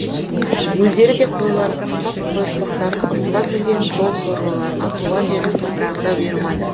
өздері де қойларын құрттап қойыртпақтарын ұрттап жүрген сол сорлыларға туған жердің топырағы да бұйырмады